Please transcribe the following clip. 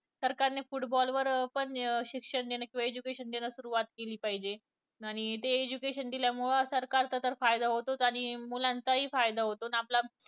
सरकारनं football वर पण शिक्षण देणं किंवा education देणं पण सुरुवात केली पाहिजे. आणि ते education दिल्यामुळे सरकारचा तर फायदा होतोच आणि मुलांचाही पण फायदा होतो आणि आपला